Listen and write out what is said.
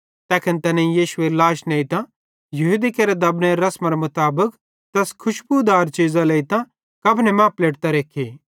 तैखन तैनेईं यीशुएरी लाश नेइतां यहूदी केरे दबनेरे रसमरे मुताबिक तैस खुशबुदार चीज़ां लेइतां कफने मां पलेटतां रखी